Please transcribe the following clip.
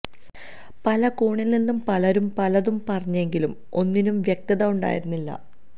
പല കോണില് നിന്നും പലരും പലതും പറഞ്ഞെങ്കിലും ഒന്നിനും വ്യക്തത ഉണ്ടായിരുന്നില്ല